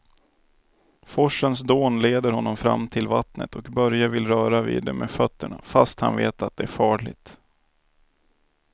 Forsens dån leder honom fram till vattnet och Börje vill röra vid det med fötterna, fast han vet att det är farligt.